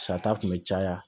Sata kun bɛ caya